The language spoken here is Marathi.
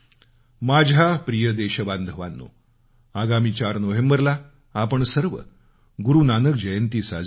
माझ्या प्रिय देशबांधवानो आगामी चार नोव्हेंबरला आपण सर्व गुरु नानक जयंती साजरी करू